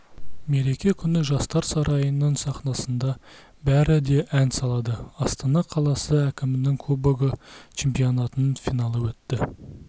мереке күні жастар сарайының сахнасында бәрі де ән салады астана қаласы әкімінің кубогы чемпионатының финалы өтті